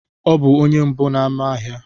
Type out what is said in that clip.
Ọ bụ onye mbụ n'ámá ahịa.